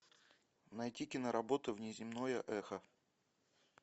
найти киноработу внеземное эхо